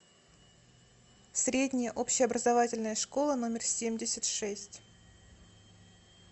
средняя общеобразовательная школа номер семьдесят шесть